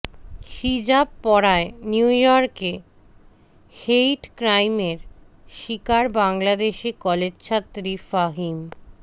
হিজাব পরায় নিউইয়র্কে হেইট ক্রাইমের শিকার বাংলাদেশী কলেজছাত্রী ফাহিম